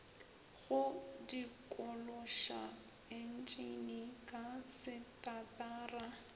go dikološa entšene ka setatara